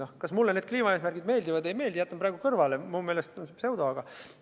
See, kas mulle need kliimaeesmärgid meeldivad või ei meeldi – jätan selle praegu kõrvale, minu meelest on see pseudoteema.